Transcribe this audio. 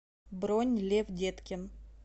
бронь лев деткин